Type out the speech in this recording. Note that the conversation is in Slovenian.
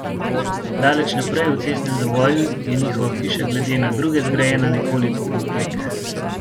Daleč naprej, v cestnem zavoju, je njihova hiša glede na druge zgrajena nekoliko povprek.